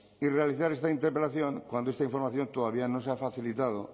y realizar esta interpelación cuando esta información todavía no se ha facilitado